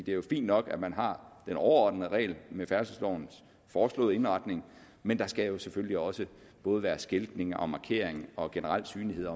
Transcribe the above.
jo fint nok at man har den overordnede regel med færdselslovens foreslåede indretning men der skal selvfølgelig også både være skiltning og markering og generel synlighed